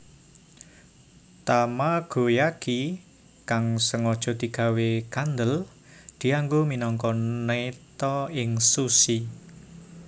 Tamagoyaki kang sengaja digawé kandhel dianggo minangka neta ing sushi